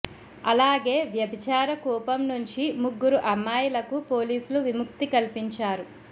అలాగే వ్యభిచార కూపం నుంచి ముగ్గురు అమ్మాయిలకు పోలీసులు విముక్తి కల్పించారు